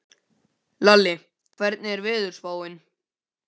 Hún hvarf inn í mig afþvíað hún var ég.